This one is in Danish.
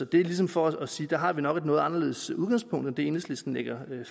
det er ligesom for at sige at der har vi nok et noget anderledes udgangspunkt end det enhedslisten lægger